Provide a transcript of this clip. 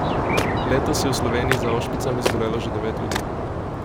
Letos je v Sloveniji za ošpicami zbolelo že devet ljudi.